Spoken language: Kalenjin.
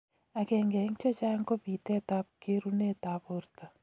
Agenge eng chechang ko pitet ab kerunet ab borto